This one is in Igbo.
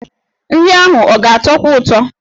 Nri ahụ ọ ga-atọkwu ụtọ?